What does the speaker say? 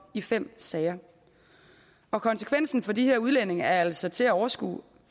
i fem sager og konsekvensen for de udlændinge er altså til at overskue